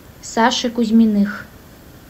саши кузьминых